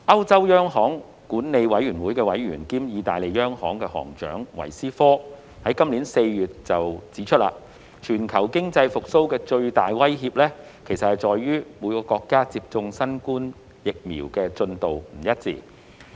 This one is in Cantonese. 歐洲央行管理委員會委員兼意大利央行行長維斯科今年4月指出，全球經濟復蘇的最大威脅，其實在於各國接種新冠疫苗的進度不一。